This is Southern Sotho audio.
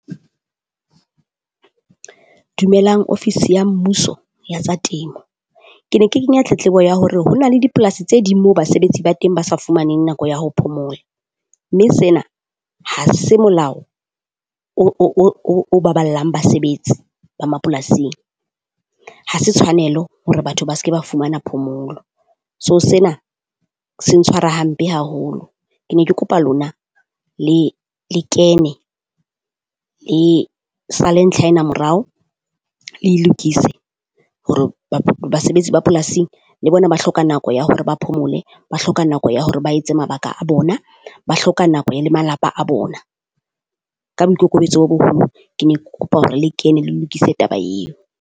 Dumelang ofisi ya Mmuso ya tsa Temo, Ke ne ke kenya tletlebo ya hore ho na le dipolasi tse ding moo basebetsi ba teng ba sa fumaneng nako ya ho phomola, mme sena ha se molao o baballang basebetsi ba mapolasing. Ha se tshwanelo hore batho ba se ke ba fumana phomolo. So sena se ntshwara hampe haholo. Ke ne ke kopa lona le le kene le sale. ntlha ena morao le e lokise hore basebetsi ba polasing le bona ba hloka nako ya hore ba phomole, ba hloka nako ya hore ba etse mabaka a bona, ba hloka nako e le malapa a bona. Ka boikokobetso bo boholo ke ne ke kopa hore le kene le lokise taba eo.